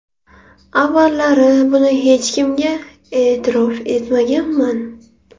Avvallari buni hech kimga e’tirof etmaganman.